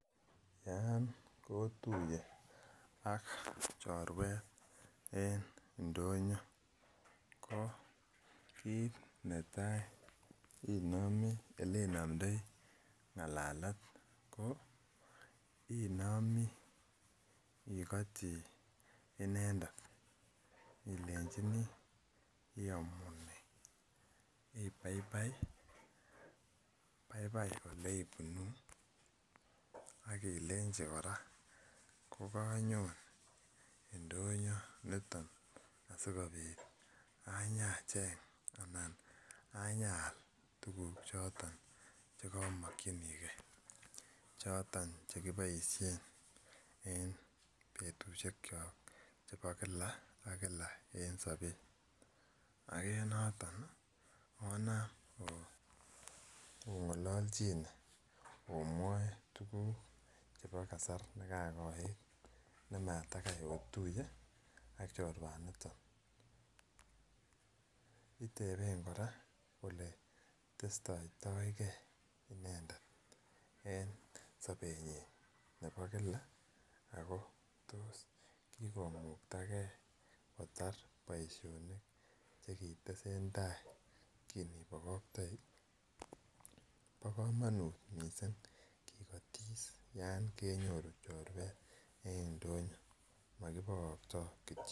Yan kotuye ak chorwet en ndonyo ko kit netaa ko elenomdoi ngalalet ko inomi igoti inendet ilenjini iyomunee, ibaibai? Baibai ole ibunu ak ileji koraa ko kanyon indonyo niton asikopit anyacheng anan anyaal tuguk choton che komokyingee choton che koboishen en betushekyok chebo Kila ak Kila en sobet ak en noton onam ongololjine omwoe tuguk chebo kasar ne kakoit ne matakai otuye ak chorwaniton. Iteben koraa ole testoito gee inendet en sobenyin nebo Kila ako tos kikomukta gee kotar boisionik che kitesen tai kin ibokoktoi. Bo komonut missing kigotis yon kenyoru chorwet en ndonyo mo kibokto kityo